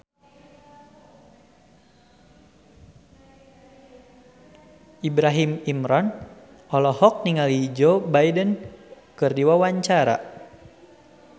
Ibrahim Imran olohok ningali Joe Biden keur diwawancara